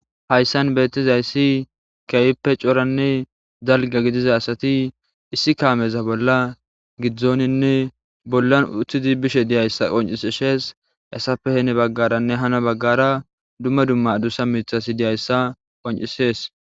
Hayssan beetizayssi keehippe coranne dalga gidiza asati issi kaameza bolla giddoninne bollan uttidi bishe diyayssa qoncisises hessappe heni bagaaranne hani bagaara dumma dumma addussa miththati diyayssa qoncises.